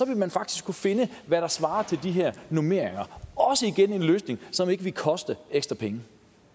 man faktisk kunne finde hvad der svarer til de her normeringer også igennem en løsning som ikke ville koste ekstra penge